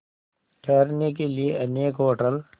ठहरने के लिए अनेक होटल